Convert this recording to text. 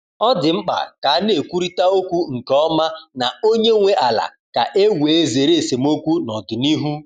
Ọ dị mkpa ka a na-ekwurịta okwu nke ọma na onye nwe ala ka e wee zere esemokwu n’ọdịnihu.